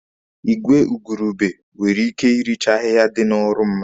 Igwe igurube nwere ike irichaa ahịhịa dị n'ọrụ mmadụ.